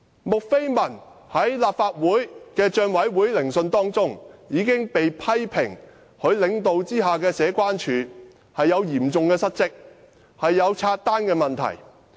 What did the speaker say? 穆斐文在立法會政府帳目委員會聆訊中被批評，她領導下的社區關係處嚴重失職，出現分拆帳單問題。